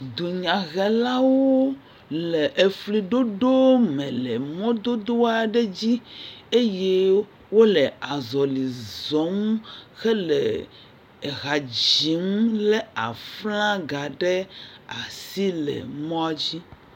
dunyahelawo le efliɖoɖo me le mɔdodo aɖe dzi eye wóle azɔli zɔm hele ehadzim le aflãga ɖe asi le mɔa dzi